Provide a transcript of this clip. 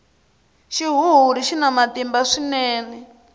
xihuhuri xina matimba swinene